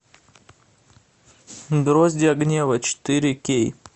гроздья гнева четыре кей